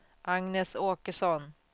Agnes Åkesson